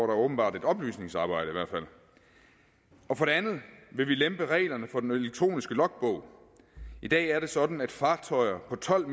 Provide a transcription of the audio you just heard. der åbenbart et oplysningsarbejde for det andet vil vi lempe reglerne for den elektroniske logbog i dag er det sådan at fartøjer på tolv